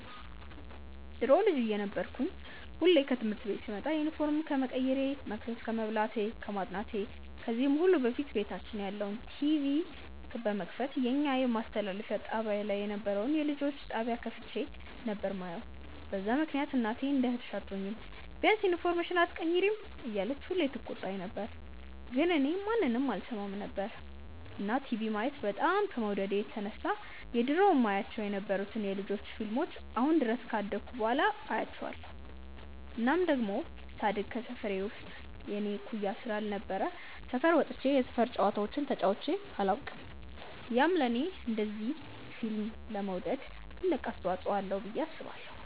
ድሮ ልጅ እየነበርኩ ሁሌ ከትምህርት ቤት ስመጣ ዩኒፎርም ከመቀየሬ፣ መቅሰስ ከመብላቴ፣ ከማጥናቴ ከዚህ ሁሉ በፊት ቤታችን ያለውን ቲቪ በመክፈት የኛ ማስተላለፊያ ጣብያ ላይ የነበረውን የልጆች ጣብያ ከፍቼ ነበር የማየው፤ በዛ ምክንያት እናቴ እንደ እህትሽ አትሆኚም፤ ቢያንስ ዩኒፎርምሽን ኣትቀይሪም እያለች ሁሌ ትቆጣኝ ነበር ግን እኔ ማንንም አልሰማም ነበር። እና ቲቪ ማየት በጣም ከመውደዴ የተነሳ የድሮ የማያቸው የነበሩትን የ ልጆች ፊልሞችን አሁን ድረስ ካደኩ በኋላ አያቸዋለው። እናም ደሞ ሳድግ ከሰፈሬ ውስጥ የኔ እኩያ ስላልነበረ ሰፈር ወጥቼ የሰፈር ጨዋታዎችን ተጫዉቼ ኣላውቅም፤ ያም ለኔ እንደዚ ፊልም ለመውደድ ትልቅ አስተዋፅዎ አለው ብዬ አስባለው።